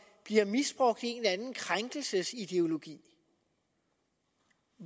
bliver misbrugt i anden krænkelsesideologi